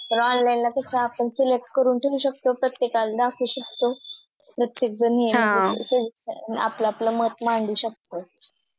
तर Online ला कास आपण Select करून ठेवू शकतो प्रत्येकाला दाखवू शकतो प्रत्येकाजण हा आपलं आपलं मत मांडू शकतो i